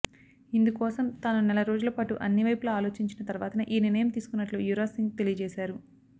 ఇందుకోసం తాను నెల రోజుల పాటు అన్ని వైపులా ఆలోచించిన తర్వాతనే ఈ నిర్ణయం తీసుకున్నట్లు యువరాజ్ సింగ్ తెలియజేశారు